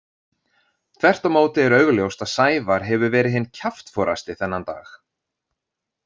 Þvert á móti er augljóst að Sævar hefur verið hinn kjaftforasti þennan dag.